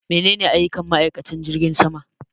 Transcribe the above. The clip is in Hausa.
Menene aiyukan ma'aikanci jirgin sama